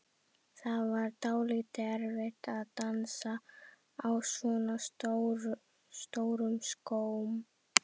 Það var dálítið erfitt að dansa á svona stórum skóm.